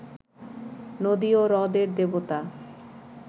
নদী ও হ্রদের দেবতা